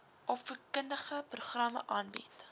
opvoedkundige programme aanbied